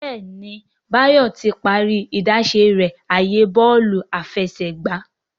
Béèni Bayo tí parí idáṣẹ rẹ ààyè Bọ́ọ̀lù àfẹsẹ̀gbá.